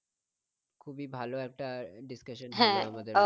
খুবই ভালো একটা discussion হলো আমাদের।